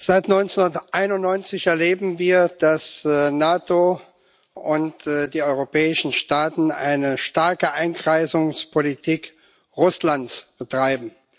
Seit 1991 erleben wir, dass die NATO und die europäischen Staaten eine starke Einkreisungspolitik Russlands betreiben.